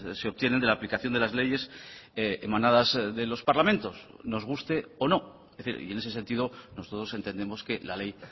se obtienen de la aplicación de las leyes emanadas de los parlamentos nos guste o no es decir y en ese sentido nosotros entendemos que la ley